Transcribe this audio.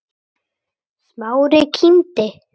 Smári kímdi.